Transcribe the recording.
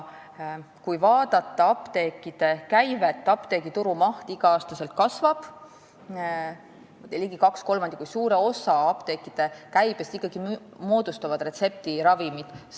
Kui aga vaadata apteekide käivet, siis apteegituru maht kasvab igal aastal ja ligi kaks kolmandikku, seega suure osa apteekide käibest moodustavad retseptiravimid.